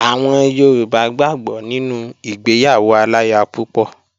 Àwọn Yorùbá gbàgbó nínú ìgbéyàwó aláya púpọ̀